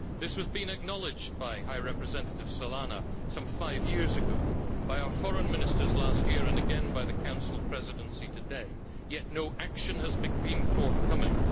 This has been acknowledged by High Representative Solana some five years ago, by our foreign ministers last year and again by the Council Presidency today, yet no action has been forthcoming.